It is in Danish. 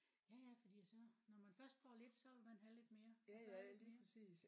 Ja ja fordi så når man først får lidt så vil man have lidt mere og så lidt mere